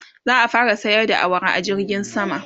za'a fara sayar da awara a jirgin sama